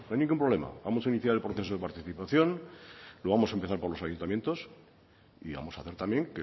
ningún problema vamos a iniciar el proceso de participación lo vamos a empezar por los ayuntamientos y vamos a hacer también